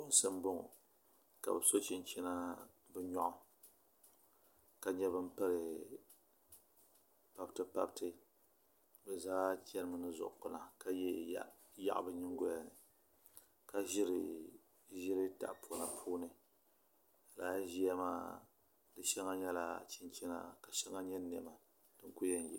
Bipuɣunsi n bɔŋɔ ka bi so chinchina bi nyoɣu ka nyɛ bin piri pabiti pabiti bi zaa chɛnimi ni zuɣu kpuna ka yɛ yaɣu bi nyingo lini ka ʒiri ʒili tahapona puuni laa ʒiya maa di shɛli nyɛla chinchina ka shɛli nyɛ niɛma